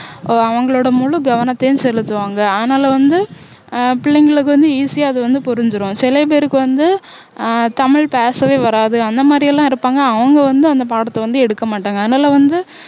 அவங்களோட முழுக்கவனத்தையும் செலுத்துவாங்க அதனால வந்து ஆஹ் பிள்ளைங்களுக்கு வந்து easy ஆ அது வந்து புரிஞ்சிரும் சில பேருக்கு வந்து ஆஹ் தமிழ் பேசவே வராது அந்தமாதிரியெல்லாம் இருப்பாங்க அவங்க வந்து அந்த பாடத்தை வந்து எடுக்கமாட்டாங்க அதனால வந்து